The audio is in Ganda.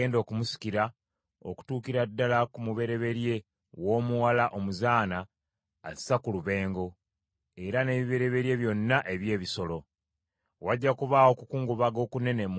Wajja kubaawo okukungubaga okunene mu nsi yonna eya Misiri, okutabangawo era nga tewagenda kubaawo kukwenkana.